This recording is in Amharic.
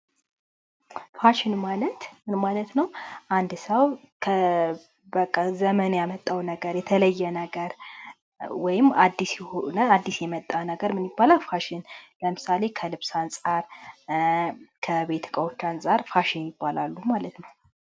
ፋሽን ማለት ምን ማለት ነው ? አንድ ሰዉ ዘመን ያመጣው ነገር የተለየ ነገር ወይም አዲስ የመጣ ነገረ ፋሽን ይባላል ለምሳሌ ከ ልብሰ አንፃር ፤ ከ ቤት እቃዎቼ አንፃር ፋሽን ይባላሉ ማለት ነዉ